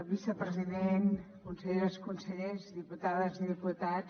vicepresident conselleres consellers diputades i diputats